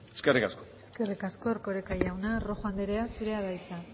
eskerrik asko eskerrik asko erkoreka jauna rojo anderea zurea da hitza